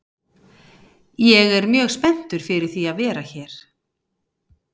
Ég er mjög spenntur fyrir því að vera hér.